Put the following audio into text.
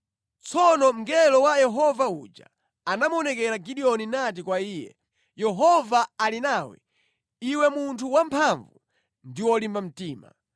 Tsono mngelo wa Yehova uja anamuonekera Gideoni nati kwa iye, “Yehova ali nawe, iwe munthu wamphamvu ndi wolimba mtima.”